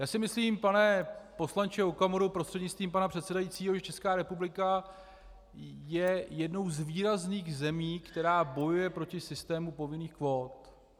Já si myslím, pane poslanče Okamuro prostřednictvím pana předsedajícího, že Česká republika je jednou z výrazných zemí, které bojují proti systému povinných kvót.